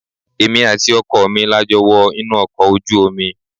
Èmi àti ọkọ mi la jọ wọ inú ọkọ̀ ojú omi.